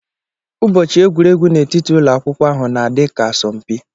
Ụbọchị egwuregwu n'etiti ụlọ akwukwo ahụ na adi ka-asọmpi.